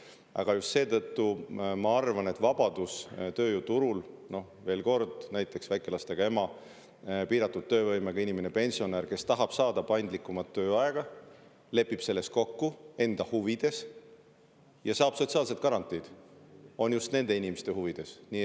Aga just seetõttu ma arvan, et vabadus tööjõuturul – veel kord: näiteks väikelastega ema, piiratud töövõimega inimene või pensionär, kes tahab saada paindlikumat tööaega, lepib selles kokku enda huvides ja saab sotsiaalsed garantiid – on just nende inimeste huvides.